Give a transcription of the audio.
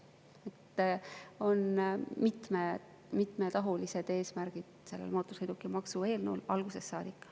Mootorsõidukimaksu eelnõul on olnud mitmetahulised eesmärgid algusest saadik.